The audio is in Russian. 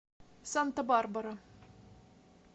санта барбара